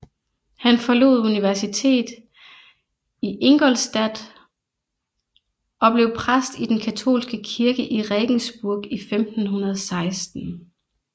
Han forlod universitetet i Ingolstadt og blev præst i den katolske kirke i Regensburg i 1516